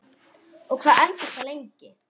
Og hvað entist það lengi?